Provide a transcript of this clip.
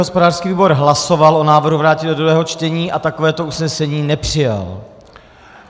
Hospodářský výbor hlasoval o návrhu vrátit do druhého čtení a takovéto usnesení nepřijal.